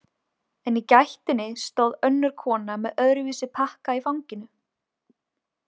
En í gættinni stóð önnur kona með öðruvísi pakka í fanginu.